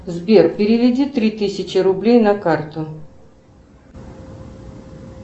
сбер переведи три тысячи рублей на карту